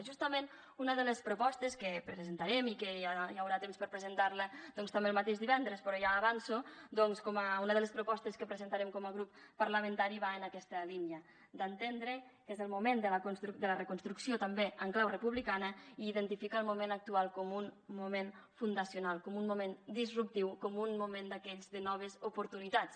justament una de les propostes que presentarem i que ja hi haurà temps per presentar la doncs també el mateix divendres però ja avanço com una de les propostes que presentarem com a grup parlamentari va en aquesta línia d’entendre que és el moment de la reconstrucció també en clau republicana i identifica el moment actual com un moment fundacional com un moment disruptiu com un moment d’aquells de noves oportunitats